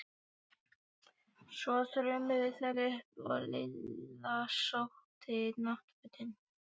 Svo þrömmuðu þær upp og Lilla sótti náttfötin.